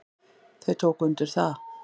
Þau tóku undir það.